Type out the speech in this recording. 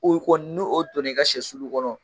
U kɔn n'u o donn'i ka sɛ sulu kɔnɔ